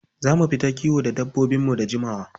Za mu fita kiwo da dabbobinmu da jimawa.